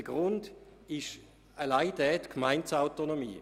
Der Grund dafür ist allein die Gemeindeautonomie.